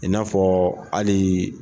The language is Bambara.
I n'a fɔ hali.